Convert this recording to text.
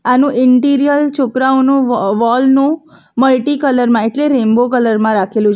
આનું ઇન્ટિરિયર છોકરાઓનો વો વોલ નું મલ્ટી કલર માં એટલે રેમ્બો કલર માં રાખેલું છે.